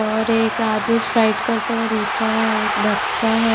और एक आदमी स्लाइड करते हुआ नीचे आया है एक बच्चा है।